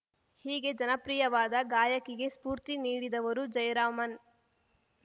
ಹೀಗೆ ಜನಪ್ರಿಯವಾದ ಗಾಯಕಿಗೆ ಸ್ಫೂರ್ತಿ ನೀಡಿದವರು ಜಯರಾಮನ್‌